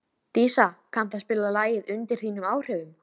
Dísa, kanntu að spila lagið „Undir þínum áhrifum“?